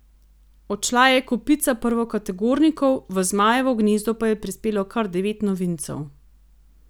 Odšla je kopica prvokategornikov, v zmajevo gnezdo pa je prispelo kar devet novincev.